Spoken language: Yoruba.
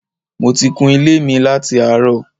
Mo ti kun ilé mi láti àárọ̀